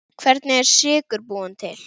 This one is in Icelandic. Hvernig er sykur búinn til?